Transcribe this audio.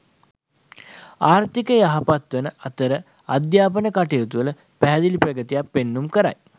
ආර්ථිකය යහපත් වන අතර අධ්‍යාපන කටයුතුවල පැහැදිලි ප්‍රගතියක් පෙන්නුම් කරයි.